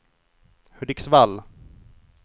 Hudiksvall